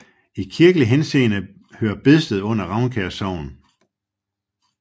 I kirkelig henseende hører Bedsted under Ravnkær Sogn